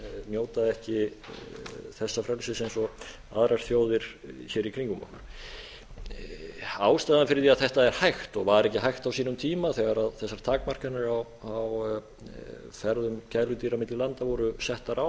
njóta ekki þessa frelsis eins og aðrar þjóðir hér í kringum okkur ástæðan fyrir því að þetta er hægt og var ekki hægt á sínum tíma þegar þessar takmarkanir á ferðum gæludýra milli landa voru settar á